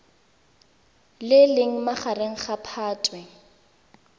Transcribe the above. le leng magareng ga phatwe